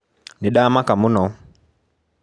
Nĩndamaka mũno.